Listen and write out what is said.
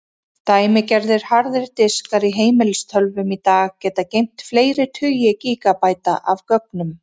Dæmigerðir harðir diskar í heimilistölvum í dag geta geymt fleiri tugi gígabæta af gögnum.